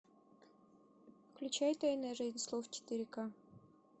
включай тайная жизнь слов четыре ка